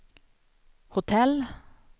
hotell